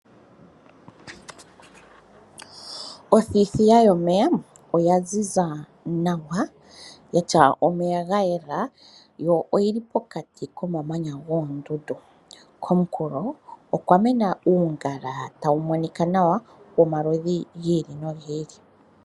Othithiya yomeya oya ziza nawa yatya omeya ga yele yo oyili pokati komamanya goondundu komunkulo okwa mena uungala tawu monika nawa womaludhi gi ili nogi ili.